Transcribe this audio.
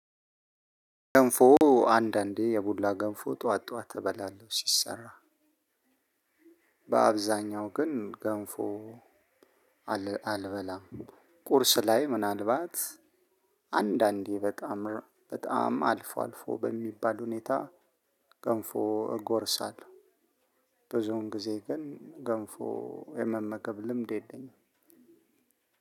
ገንፎ አንዳንዴ የቡላ ገንፎ ጠዋት ጠዋት እበላለሁ ሲሰራ። በአብዛኛው ግን ገንፎ አልበላም። ቁርስ ላይ ምናልባት አንዳንዴ በጣም፣ በጣም አልፎ፣ አልፎ በሚባል ሁኔታ ገንፎ እጎርሳለሁ። ብዙውን ጊዜ ግን ገንፎ የመመገብ ልምድ የለኝም።